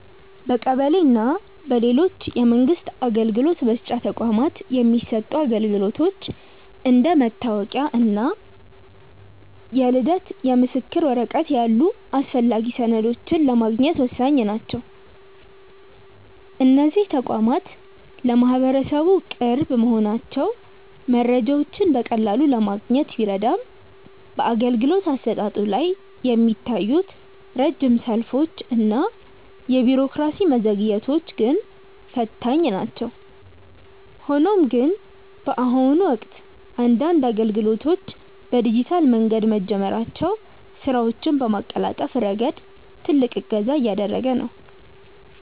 በቀበሌ እና በሌሎች የመንግስት አገልግሎት መስጫ ተቋማት የሚሰጡ አገልግሎቶች እንደ መታወቂያ እና የልደት ምስክር ወረቀት ያሉ አስፈላጊ ሰነዶችን ለማግኘት ወሳኝ ናቸው። እነዚህ ተቋማት ለማህበረሰቡ ቅርብ መሆናቸው መረጃዎችን በቀላሉ ለማግኘት ቢረዳም፣ በአገልግሎት አሰጣጡ ላይ የሚታዩት ረጅም ሰልፎች እና የቢሮክራሲ መዘግየቶች ግን ፈታኝ ናቸው። ሆኖም ግን፣ በአሁኑ ወቅት አንዳንድ አገልግሎቶች በዲጂታል መንገድ መጀመራቸው ስራዎችን በማቀላጠፍ ረገድ ትልቅ እገዛ እያደረገ ነው።